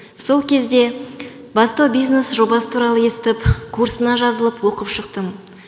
сол кезде бастау бизнес жобасы туралы естіп курсына жазылып оқып шықтым